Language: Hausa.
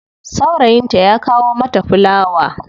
Saurayinta ya kawo mata fulawa.